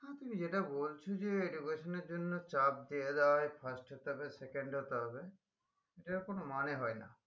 তুমি যেটা বলছো যে education এর জন্য চাপ দিয়ে দেওয়া হয় first হতে হবে second হতে হবে যেটার কোনো মানে হয় না